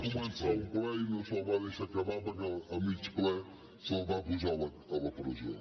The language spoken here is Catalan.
que va començar un ple i no se’l va deixar acabar perquè a mig ple se’l va posar a la presó